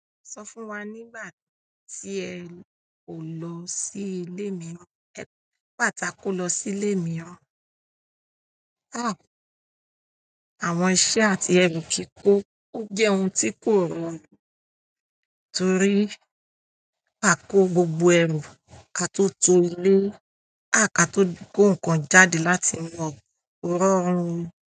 Sọ fún wa nígbà tí ẹ kò lọ sí ilé mìíràn àwọn iṣẹ́ àti ẹrù kìí kó, ó jẹ́ ohun tí kò rọrùn torí à kò gbogbo ẹrù ká tó tó ilé, ká tó kó nǹkan jáde láti inú rọrùn.